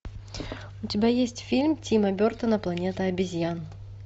у тебя есть фильм тима бертона планета обезьян